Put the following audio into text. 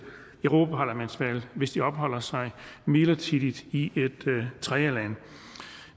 europaparlamentsvalget hvis de opholder sig midlertidigt i et tredjeland